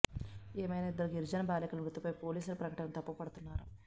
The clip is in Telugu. ఏమైనా ఇద్దరు గిరిజన బాలికల మృతిపై పోలీసుల ప్రకటనను తప్పుపడుతున్నారు